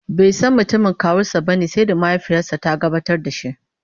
baisan mutumin kawunsa bane sai da mahaifiyarsa ta gabatar da shi